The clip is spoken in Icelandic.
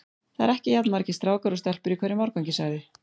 Það eru ekki jafn margir strákar og stelpur í hverjum árgangi sagði